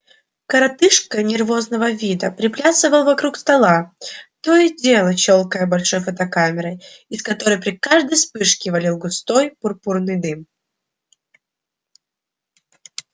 коротышка нервозного вида приплясывал вокруг стола то и дело щёлкая большой фотокамерой из которой при каждой вспышке валил густой пурпурный дым